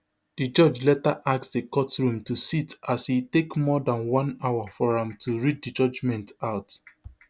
di judge later ask di courtroom to sit as e take more dan one hour for am to read di judgement out